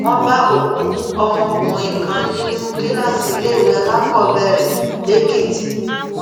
wọn bá òkú ọmọkùnrin kan nínú kíláàsì iléèwé alákọọbẹrẹ lẹèkìtì